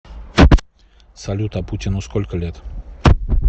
салют а путину сколько лет